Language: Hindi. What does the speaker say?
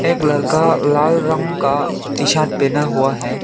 एक लड़का लाल रंग का टी शर्ट पहना हुआ है।